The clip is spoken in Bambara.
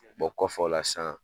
kɔfɛ o la san